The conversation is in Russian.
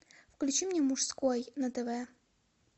включи мне мужской на тв